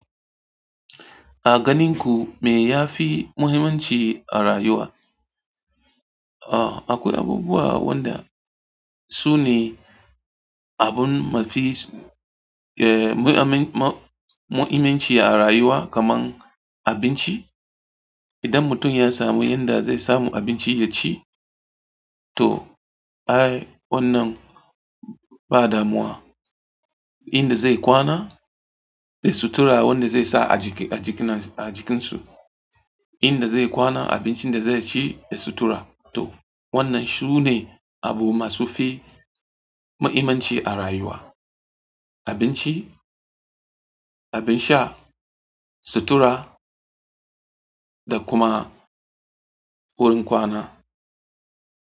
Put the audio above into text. A ganin ku me ya fi muhimmanci a rayuwa? Ah, akwai abubuwa wanda su ne abun mafi, eh, mu'iminci a rayuwa kaman abinci. Idan mutum ya samu yanda zai samu abinci yaci to ai wannan ba damuwa. Inda zai kwana da sutura wanda zai sa a jikin su, inda zai kwana, abincin da zai ci da sutura to wannan su ne abu masu fi mahimmanci a rayuwa. Abinci, abin sha, sutura da kuma wurin kwana.